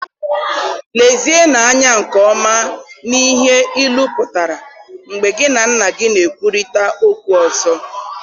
Lezienụ anya nke ọma n'ihe ilu pụtara mgbe gị na nna gị na-ekwurịta okwu ọzọ